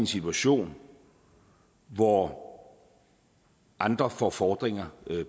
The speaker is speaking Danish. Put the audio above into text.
situation hvor andre får fordringer